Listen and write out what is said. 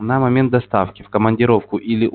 на момент доставки в командировку или у